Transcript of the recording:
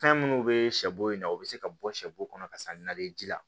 Fɛn minnu bɛ sɛbo in na u bɛ se ka bɔ sɛbo kɔnɔ ka sa nali ji la